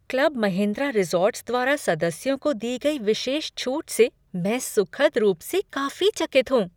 Club Mahindra Resorts द्वारा सदस्यों को दी गई विशेष छूट से मैं सुखद रूप से काफी चकित हूँ।